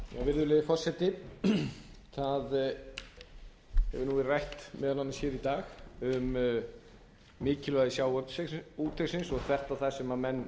forseti það hefur verið rætt meðal annars í dag um mikilvægi sjávarútvegsins og bent á það sem menn